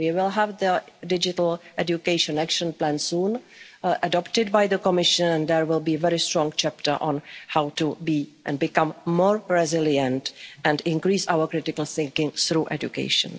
our education. We will have the Digital Education Action Plan soon, adopted by the Commission, and there will be a very strong chapter on how to become more resilient and increase our critical thinking through